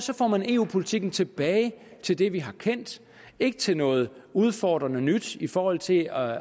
får man eu politikken tilbage til det vi har kendt ikke til noget udfordrende nyt i forhold til at